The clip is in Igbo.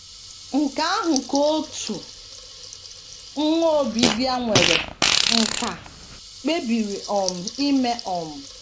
Nke ahụ ka otu nwa Obibịa nwere nkà kpebiri um ime um.